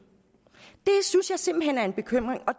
synes jeg simpelt hen er en bekymring og